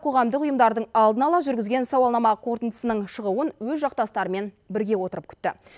қоғамдық ұйымдардың алдын ала жүргізген сауалнама қорытындысының шығуын өз жақтастарымен бірге отырып күтті